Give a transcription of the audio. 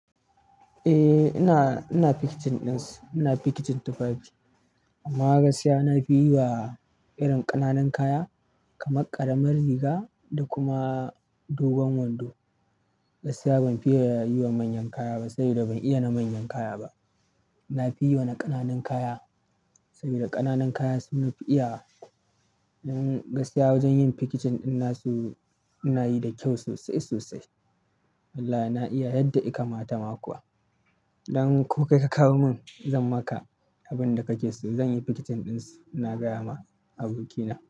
Eh ina, ina packaging ɗinsa. Ina packaging tufafi amma gaskiya na fi yiwa irin ƙananun kaya kamar ƙaramin riga da kuma dogon wando. Gaskiya ban fi ye yi wa manyan kaya ba saboda ban iya na manyan kaya ba. Na fi yi wa na ƙananun kaya saboda ƙananun kaya sun fi iya. Don gaskiya wajen yin packaging ɗin na su ina yi da kyau sosai sosai. Wallahi na iya yadda ika mata ma kuwa. Dan ko kai ka kawo mun zan maka abin da kake so. Zan yi packaging ɗinsa, na gaya ma abokina.